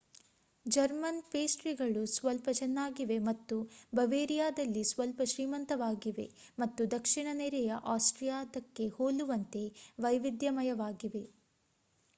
German ಪೇಸ್ಟ್ರಿಗಳು ಸ್ವಲ್ಪ ಚೆನ್ನಾಗಿವೆ ಮತ್ತು ಬವೇರಿಯಾದಲ್ಲಿ ಸ್ವಲ್ಪ ಶ್ರೀಮಂತವಾಗಿವೆ ಮತ್ತು ದಕ್ಷಿಣ ನೆರೆಯ ಆಸ್ಟ್ರಿಯಾದ್ದಕ್ಕೆ ಹೋಲುವಂತೆ ವೈವಿಧ್ಯಮಯವಾಗಿವೆ